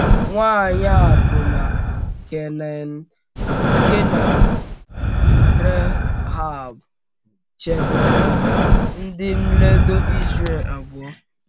Nwanyị akwụna Kenan bụ́ Rehab chebere ndị nledo Izrel abụọ.